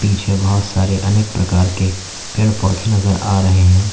पीछे बहोत सारे अनेक प्रकार के पेड़ पौधे नजर आ रहे हैं।